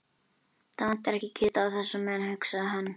Það vantar ekki kjötið á þessa menn, hugsaði hann.